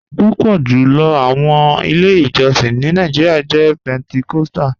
Pupọ julọ awọn ilẹ̀-ijọ̀sìn ni Nàìjíríà jẹ̀ Pentecostal.